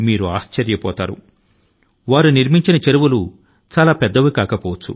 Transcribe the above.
ఆయన నిర్మించిన చెరువులు పెద్ద పెద్ద వి కాకపోవచ్చు